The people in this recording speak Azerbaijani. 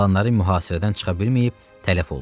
Qalanları mühasirədən çıxa bilməyib tələf oldu.